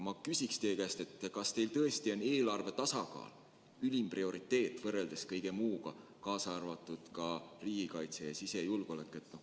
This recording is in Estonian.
Ma küsin teie käest nii: kas teie jaoks tõesti on eelarve tasakaal ülim prioriteet võrreldes kõige muuga, kaasa arvatud riigikaitse ja sisejulgeolekuga?